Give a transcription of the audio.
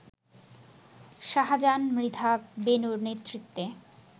শাহজাহান মৃধা বেনুর নেতৃত্বে